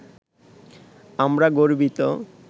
আমরা গর্বিত